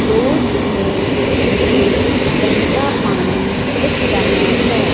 Road में मुझे बेहता पानी दिख रहा है।